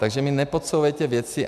Takže mi nepodsouvejte věci...